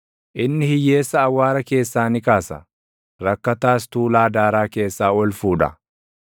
Inni hiyyeessa awwaara keessaa ni kaasa; rakkataas tuulaa daaraa keessaa ol fuudha;